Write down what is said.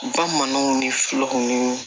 Bamananw ni fulaw ni